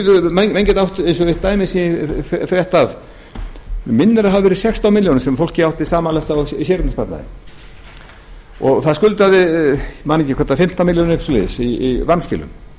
menn geta átt eins og eitt dæmi sem ég frétti af mig minnir að það hafi verið sextán milljónir sem fólkið átti samanlagt í sériegnasparnaði og það skuldaði ég man ekki hvort það var fimmtán milljónir eða eitthvað svoleiðis í vanskilum